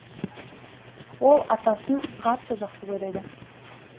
ол атасын қатты жақсы көреді